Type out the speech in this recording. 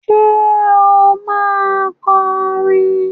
Ṣe o ma kọrin?